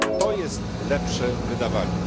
To jest lepsze wydawanie.